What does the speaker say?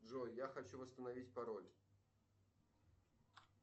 джой я хочу восстановить пароль